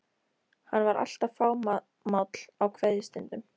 Hann var alltaf fámáll á kveðjustundum.